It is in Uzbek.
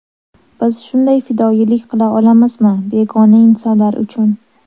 Biz shunday fidoyilik qila olamizmi begona insonlar uchun?